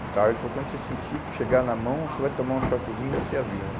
Tá, ele falou, quando você sentir que chegar na mão, você vai tomar um choquezinho, você avisa.